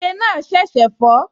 Ike náà ṣẹ̀ṣẹ̀ fọ́